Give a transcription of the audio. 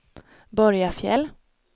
Borgafjäll